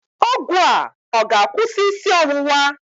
Ọgwụ a ọ ga-akwụsị isi ọwụwa?